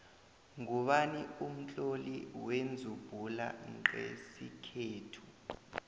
ngubani umtloli wenzubhula nqesikhethu